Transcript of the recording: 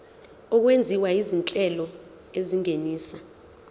okwenziwa izinhlelo ezingenisa